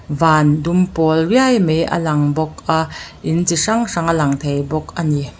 van dum pawl riai mai a lang bawk a in chi hrang hrang a lang thei bawk a ni.